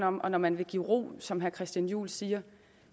om og når man vil give ro som herre christian juhl siger